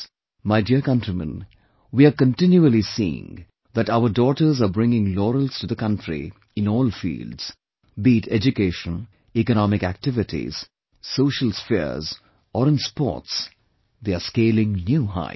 My dear countrymen, we are continually seeing that our daughters are bringing laurels to the country in all the fields be it education, economic activities, social spheres or in sports they are scaling new heights